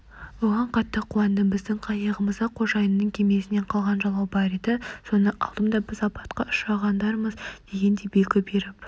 бұған қатты қуандым біздің қайығымызда қожайынның кемесінен қалған жалау бар еді соны алдым да біз апатқа ұшырағандармыз дегендей белгі беріп